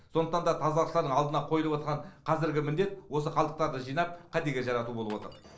сондықтан да тазалықшылардың алдында қойылып отырған қазіргі міндет осы қалдықтарды жинап кәдеге жарату болып отыр